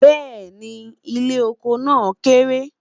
béèni, ilé ọkọ nà kéré